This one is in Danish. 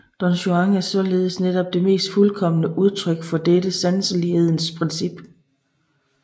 Don Juan er således netop det mest fuldkomne udtryk for dette sanselighedens princip